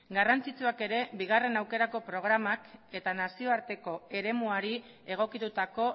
garrantzitsuak ere bigarren aukerako programak eta nazioarteko eremuari egokitutako